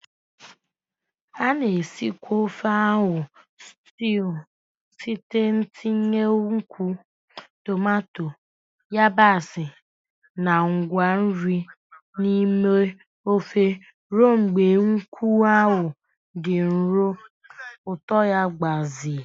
A na-esikwa ofe akwu stew site n'itinye nkwụ, tomato, yabasị, na ngwa nri n'ime ofe ruo mgbe nkwụ ahụ dị nro, ụtọ ya gbazee.